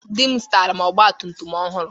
Di m zụtara ọgba tum tum ọhụrụ.